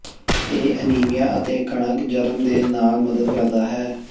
ਇਹ ਅਨੀਮੀਆ ਅਤੇ ਕਣਕ ਜਰਮ ਦੇ ਨਾਲ ਮਦਦ ਕਰਦਾ ਹੈ